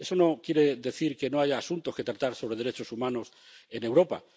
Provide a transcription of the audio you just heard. Eso no quiere decir que no haya asuntos que tratar sobre derechos humanos en Europa.